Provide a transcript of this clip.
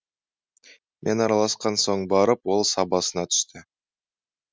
мен араласқан соң барып ол сабасына түсті